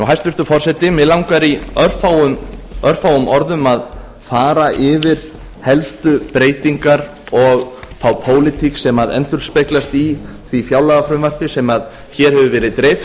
hæstvirtur forseti mig langar í örfáum orðum að fara yfir helstu breytingar og þá pólitík sem endurspeglast í því fjárlagafrumvarpi sem hér hefur verið dreift